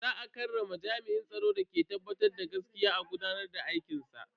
Za a karrama jami'in tsaron da ke tabbatar da gaskiya a gudanar da aikinsa.